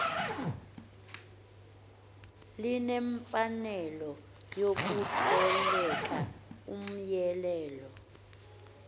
linemfanelo yokutolika umyalelo